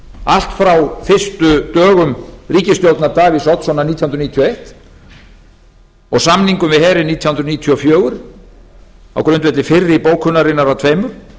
allt frá fyrstu dögum ríkisstjórnar davíðs oddssonar nítján hundruð níutíu og eins og samningum við herinn nítján hundruð níutíu og fjögur á grundvelli fyrri bókunarinnar af tveimur